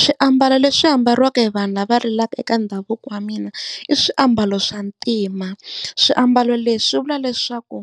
Swiambalo leswi ambariwa hi vanhu lava rilaka eka ndhavuko wa mina i swiambalo swa ntima. Swiambalo leswi swi vula leswaku